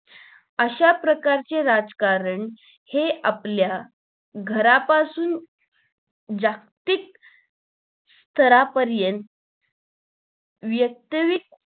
अशा प्रकारचे राजकारण हे आपल्या घरापासून जागतिक स्तरापर्यंत व्यक्तिगत